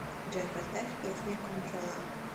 джой поставь песня контролла